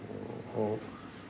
og